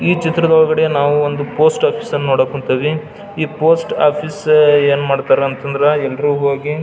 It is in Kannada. ಈ ಚಿತ್ರದೊಳಗಡೆ ನಾವು ಒಂದು ಪೋಸ್ಟ್ ಆಫೀಸ್ ಅನ್ನ ನೋಡಕ್ ಹೊಂಟಿವಿ ಈ ಪೋಸ್ಟಾಫೀಸು ಏನ್ ಮಾಡ್ತಾರೆ ಅಂತಂದ್ರ ಎಲ್ಲರು ಹೋಗಿ --